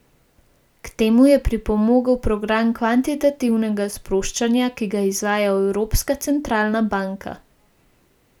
K temu je pripomogel program kvantitativnega sproščanja, ki ga izvaja Evropska centralna banka.